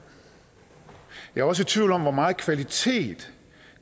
jeg er også i tvivl om hvor meget kvalitet